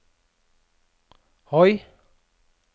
høy